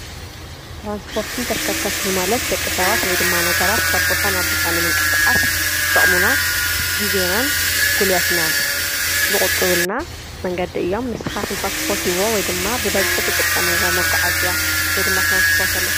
ትራንስፖርትን ተሽከርከርትን ማለት ደቂ ሰባት ወይ ድማ ነገራት ካብ ቦታ ናብ ቦታ ንምንቅስቃስ ዝጠቅሙና ግዜናን ጉልበትናን ዝቁጥቡልና መንገዲ እዮም ።ንስካትኩም ከ ትፈትዉዎ ወይድማ ብበዝሒ ትጥቀምዎ መጓዓዝያ ወይድማ ትራንስፖርት ኣሎ?